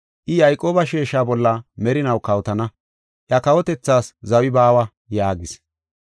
I Yayqooba sheesha bolla merinaw kawotana; iya kawotethaas zawi baawa” yaagis.